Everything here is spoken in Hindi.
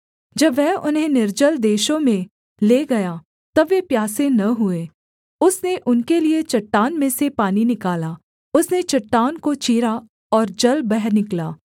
जब वह उन्हें निर्जल देशों में ले गया तब वे प्यासे न हुए उसने उनके लिये चट्टान में से पानी निकाला उसने चट्टान को चीरा और जल बह निकला